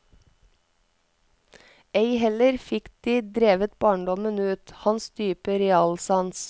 Ei heller fikk de drevet barndommen ut, hans dype realsans.